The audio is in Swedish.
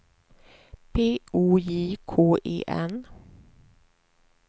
P O J K E N